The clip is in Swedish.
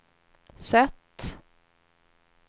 sätt